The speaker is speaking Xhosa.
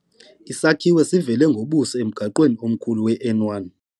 Isakhiwo sivele ngobuso emgaqweni omkhulu weN1.